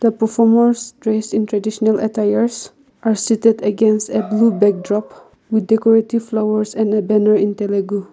performers dressed in traditional attires are seated against a blue backdrop with decorative flowers and a banner in telugu.